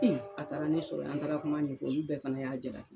a taara ne sɔrɔ ye an taara kuma ɲɛ fɔ olu bɛɛ fana y'a jalaki.